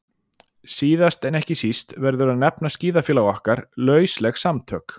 Síðast en ekki síst verður að nefna skíðafélag okkar, lausleg samtök